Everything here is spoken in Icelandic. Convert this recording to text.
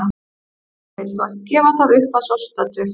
Hann vill þó ekki gefa það upp að svo stöddu.